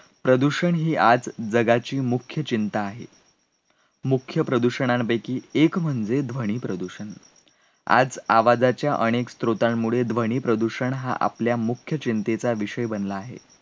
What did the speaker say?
प्रदूषण ही आज जगाची मुख्य चिंता आहे. मुख्य प्रदूषणांपैकी एक म्हणजे ध्वनी प्रदूषण. आज आवाजाच्या अनेक स्त्रोतांमुळे ध्वनी प्रदूषण हा आपल्या मुख्य चिंतेचा विषय बनला आहे.